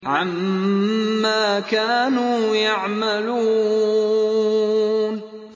عَمَّا كَانُوا يَعْمَلُونَ